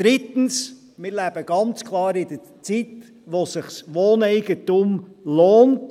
Drittens: Wir leben ganz klar in einer Zeit, in der sich Wohneigentum lohnt.